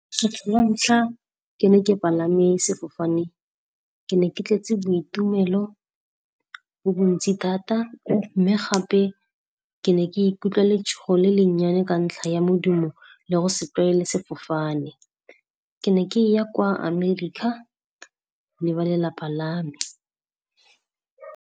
Kgetlho la ntlha ke ne ke palame sefofane, ke ne ke tletse boitumelo bo bontsi thata, mme gape ke ne ke ikutlwa letshogo le le nnyane ka ntlha ya modumo le go se tlwaele sefofane. Ke ne ke ya kwa America le ba lelapa la me.